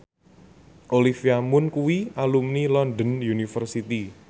Olivia Munn kuwi alumni London University